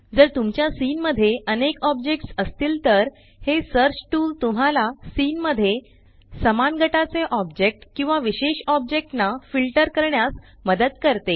जर तुमच्या सीन मध्ये अनेक ऑब्जेक्ट्स असतील तर हे सर्च टूल तुम्हाला सीन मध्ये समान गटाचे ऑब्जेक्ट किंवा विशेष ऑब्जेक्ट ना फिल्टर करण्यास मदत करते